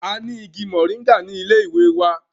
A ni igi moringa ni ile wa.